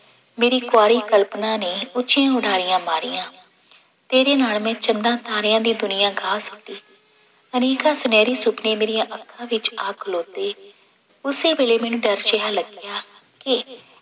ਮੇਰੀ ਕੁਆਰੀ ਕਲਪਨਾ ਨੇ ਉੱਚੀ ਉਡਾਰੀਆਂ ਮਾਰੀਆਂ ਤੇਰੇ ਨਾਲ ਮੈਂ ਚੰਨਾ ਤਾਰਿਆਂ ਦੀ ਦੁਨੀਆਂ ਗਾਹ ਛੱਡੀ, ਅਨੇਕਾਂ ਸੁਨਿਹਰੀ ਸੁਪਨੇ ਮੇਰੀਆਂ ਅੱਖਾਂ ਵਿੱਚ ਆ ਖਲੋਤੇ, ਉਸੇ ਵੇਲੇ ਮੈਨੂੰ ਡਰ ਜਿਹਾ ਲੱਗਿਆ ਕਿ